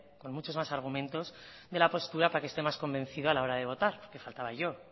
con muchos más argumentos de la postura para que esté más convencido a la hora de votar porque faltaba yo